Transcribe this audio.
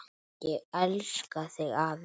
Ég elska þig, afi.